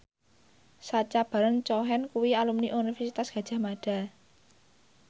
Sacha Baron Cohen kuwi alumni Universitas Gadjah Mada